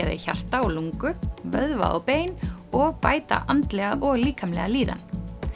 þau hjarta og lungu vöðva og bein og bæta andlega og líkamlega líðan